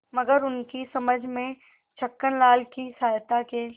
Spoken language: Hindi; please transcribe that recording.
मगर उनकी समझ में छक्कनलाल की सहायता के